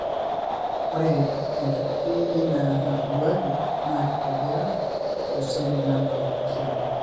Ore enkiti eina naitoduaki na kitobira toseli nado osarge.